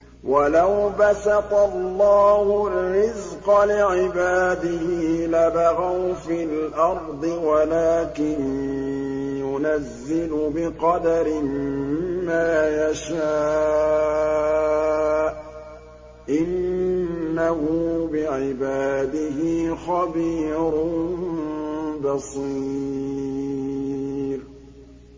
۞ وَلَوْ بَسَطَ اللَّهُ الرِّزْقَ لِعِبَادِهِ لَبَغَوْا فِي الْأَرْضِ وَلَٰكِن يُنَزِّلُ بِقَدَرٍ مَّا يَشَاءُ ۚ إِنَّهُ بِعِبَادِهِ خَبِيرٌ بَصِيرٌ